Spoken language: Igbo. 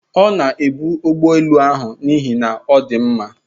Ọ na-ebu ụgbọ elu ahụ n'ihi na ọ dị mma